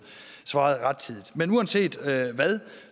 svaret rettidigt men uanset hvad hvad